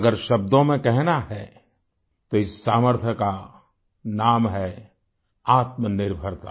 अगर शब्दों में कहना है तो इस सामर्थ्य का नाम है आत्मनिर्भरता